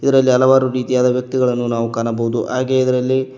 ಇದರಲ್ಲಿ ಹಲವಾರು ರೀತಿಯಾದ ವ್ಯಕ್ತಿಗಳನ್ನು ನಾವು ಕಾಣಬಹುದು ಹಾಗೆ ಇದ್ರಲ್ಲಿ--